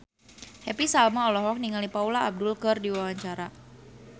Happy Salma olohok ningali Paula Abdul keur diwawancara